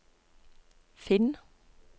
finn